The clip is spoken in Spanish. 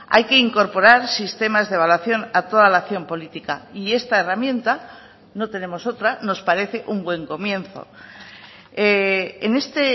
hay que incorporar sistemas de evaluación a toda la acción política y esta herramienta no tenemos otra nos parece un buen comienzo en este